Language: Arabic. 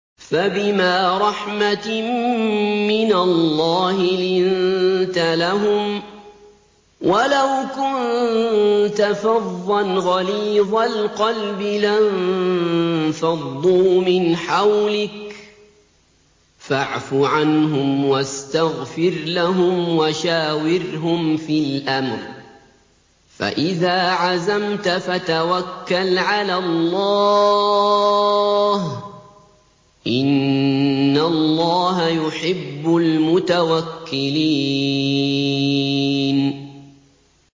فَبِمَا رَحْمَةٍ مِّنَ اللَّهِ لِنتَ لَهُمْ ۖ وَلَوْ كُنتَ فَظًّا غَلِيظَ الْقَلْبِ لَانفَضُّوا مِنْ حَوْلِكَ ۖ فَاعْفُ عَنْهُمْ وَاسْتَغْفِرْ لَهُمْ وَشَاوِرْهُمْ فِي الْأَمْرِ ۖ فَإِذَا عَزَمْتَ فَتَوَكَّلْ عَلَى اللَّهِ ۚ إِنَّ اللَّهَ يُحِبُّ الْمُتَوَكِّلِينَ